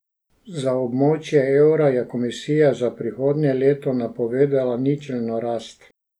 Za območje evra je komisija za prihodnje leto napovedala ničelno rast.